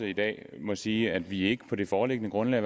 i dag må sige at vi i ikke på det foreliggende grundlag